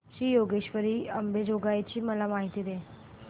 श्री योगेश्वरी अंबेजोगाई ची मला माहिती दे